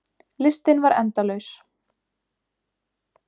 Listinn var endalaus.